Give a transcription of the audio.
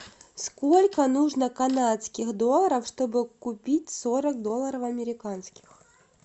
сколько нужно канадских долларов чтобы купить сорок долларов американских